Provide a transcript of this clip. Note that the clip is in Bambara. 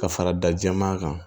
Ka fara da jɛman kan